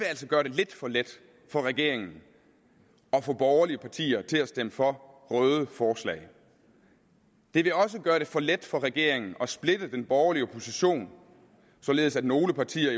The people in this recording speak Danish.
altså gøre det lidt for let for regeringen at få borgerlige partier til stemme for røde forslag det vil også gøre det for let for regeringen at splitte den borgerlige opposition således at nogle partier i